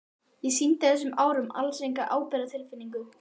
Ég sýndi á þessum árum alls enga ábyrgðartilfinningu.